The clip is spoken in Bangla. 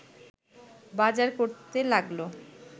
বাজার করতে লাগল